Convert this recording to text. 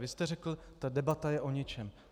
Vy jste řekl - ta debata je o ničem.